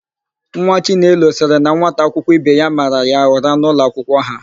Nwa chinelo sịrị na nwata akwụkwọ ibe ya mara ya ụra n'ụlọakwụkwọ ha.